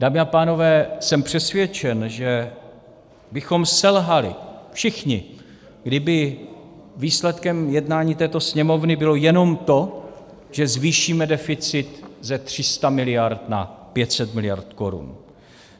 Dámy a pánové, jsem přesvědčen, že bychom selhali všichni, kdyby výsledkem jednání této Sněmovny bylo jenom to, že zvýšíme deficit ze 300 miliard na 500 miliard korun.